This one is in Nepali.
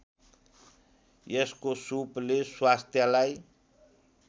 यसको सुपले स्वास्थ्यलाई